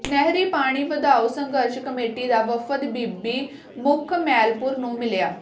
ਨਹਿਰੀ ਪਾਣੀ ਵਧਾਓ ਸੰਘਰਸ਼ ਕਮੇਟੀ ਦਾ ਵਫ਼ਦ ਬੀਬੀ ਮੁਖਮੈਲਪੁਰ ਨੂੰ ਮਿਲਿਆ